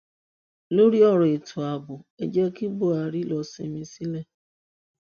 lórí ọrọ ètò ààbò ẹ jẹ kí buhari lọọ sinmi sílẹ